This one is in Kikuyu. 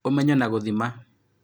Ũmenyo na gũthima